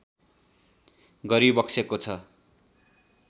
गरिबक्सेको छ